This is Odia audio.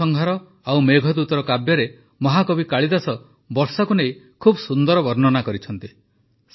ଋତୁସଂହାର ଓ ମେଘଦୂତରେ ମହାକବି କାଳିଦାସ ବର୍ଷାକୁ ନେଇ ବହୁତ ସୁନ୍ଦର ବର୍ଣ୍ଣନା କରିଛନ୍ତି